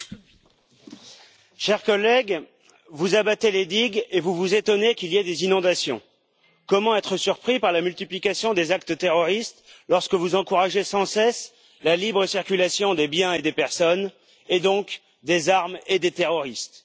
Monsieur le Président, chers collègues, vous abattez les digues et vous vous étonnez qu'il y ait des inondations. Comment être surpris par la multiplication des actes terroristes lorsque vous encouragez sans cesse la libre circulation des biens et des personnes, et donc des armes et des terroristes?